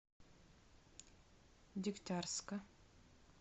дегтярска